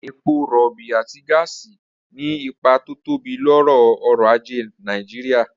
Epo rọ̀ọ̀bì àti gáàsì ní ipa tó tóbi lórí ọ̀rọ̀ ajé wa